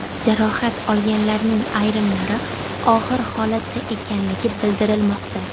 Jarohat olganlarning ayrimlari og‘ir holatda ekanligi bildirilmoqda.